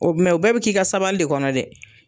o bɛɛ bɛ k'i ka sabali de kɔnɔ dɛ.